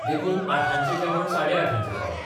देखून आठांचें जेवण साडेआठांचेर पावलें.